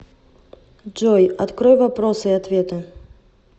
джой открой вопросы и ответы